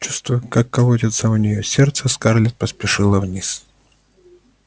чувствуя как колотится у неё сердце скарлетт поспешила вниз